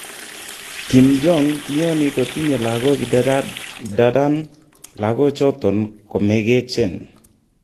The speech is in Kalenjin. Kim Jong kiyooni kotinye lagok idadan lakochoton komegechen.